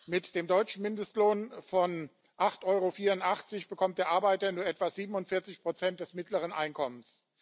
Mit dem deutschen Mindestlohn von 8,84 EUR bekommt der Arbeiter nur etwa 47 des mittleren Einkommens.